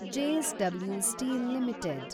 JSW steel limited